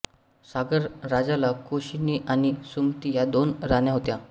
सागर राजाला केशिनी आणि सुमती या दोन राण्या होत्या